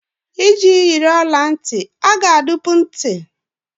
Iji jiri ọla ntị, a ga-adụpu ntị.